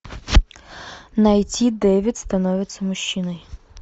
найти дэвид становится мужчиной